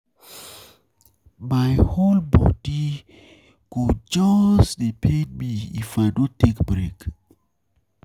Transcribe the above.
My whole bodi whole bodi go just dey pain me if I no take break.